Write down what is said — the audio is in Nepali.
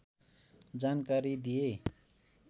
जानकारी दिए